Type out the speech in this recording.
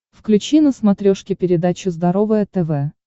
включи на смотрешке передачу здоровое тв